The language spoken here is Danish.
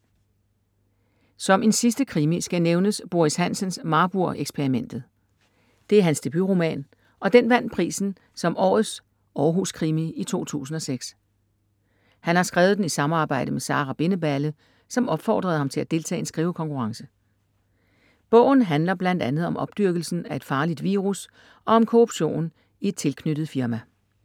Som en sidste krimi skal nævnes Boris Hansens Marburg-eksperimentet. Det er hans debutroman og den vandt prisen som Årets Århus krimi i 2006. Han har skrevet den i samarbejde med Sara Bindeballe, som opfordrede ham til at deltage i en skrivekonkurrence. Bogen handler bl.a. om opdyrkelsen af et farligt virus og om korruption i et tilknyttet firma.